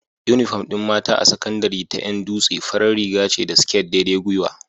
Inufom din mata a sakandari ta Yan dutse farar Riga ce da sket daidai gyiwa